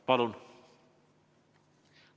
Palun!